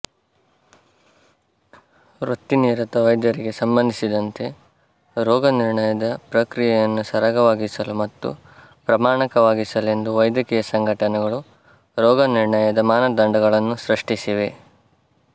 ವೃತ್ತಿನಿರತ ವೈದ್ಯರಿಗೆ ಸಂಬಂಧಿಸಿದಂತೆ ರೋಗನಿರ್ಣಯದ ಪ್ರಕ್ರಿಯೆಯನ್ನು ಸರಾಗವಾಗಿಸಲು ಮತ್ತು ಪ್ರಮಾಣಕವಾಗಿಸಲೆಂದು ವೈದ್ಯಕೀಯ ಸಂಘಟನೆಗಳು ರೋಗನಿರ್ಣಯದ ಮಾನದಂಡಗಳನ್ನು ಸೃಷ್ಟಿಸಿವೆ